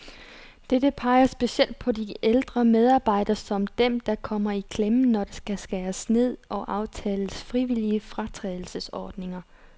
Begge peger specielt på de ældre medarbejdere, som dem, der kommer i klemme, når der skal skæres ned og aftales frivillige fratrædelsesordninger.